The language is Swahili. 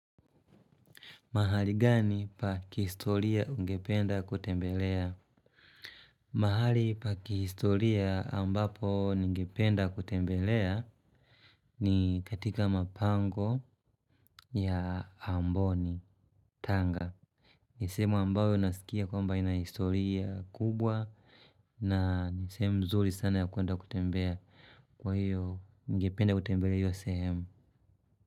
Mahali gani pakihistoria ungependa kutembelea? Mahali pa kihistoria ambapo ningependa kutembelea ni katika mapango ya amboni, tanga. Nisehemu ambayo nasikia kwamba ina historia kubwa na nisehemu mzuri sana ya kuenda kutembea kwa hiyo ningependa kutembelea hiyo sehemu.